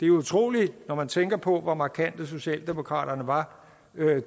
jo utroligt når man tænker på hvor markante socialdemokraterne var